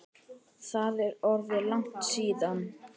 Það er orðið langt síðan.